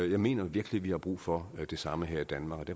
jeg mener virkelig vi har brug for det samme her i danmark